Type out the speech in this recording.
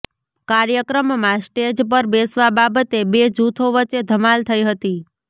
કાર્યક્રમમાં સ્ટેજ પર બેસવા બાબતે બે જૂથો વચ્ચે ધમાલ થઈ હતી